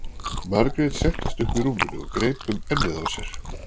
Margrét settist upp í rúminu og greip um ennið á sér.